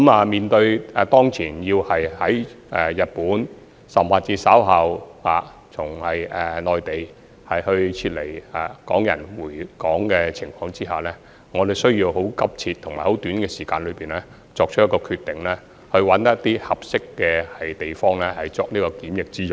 面對日內從日本甚或稍後從內地回港的港人，我們需要很急切及在很短時間內找尋一些合適的地方作檢疫用途。